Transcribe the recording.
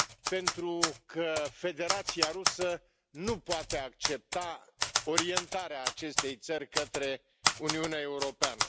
Pentru că Federația Rusă nu poate accepta orientarea acestei țări către Uniunea Europeană.